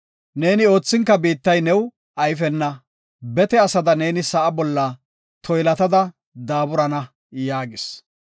Neeni oothinka biittay new ayfena; bete asada neeni sa7a bolla toylattada daaburana” yaagis.